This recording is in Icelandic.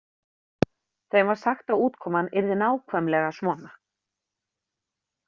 Þeim var sagt að útkoman yrði nákvæmlega svona.